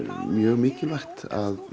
mjög mikilvægt að